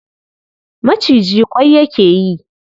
Maciji ƙwai yake yi.